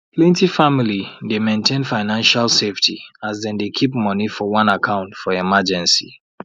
plenty family dey maintain financial safety as dem dey keep money for one account for emergency